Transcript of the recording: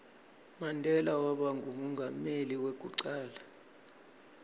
mandela waba ngumengameli weku cala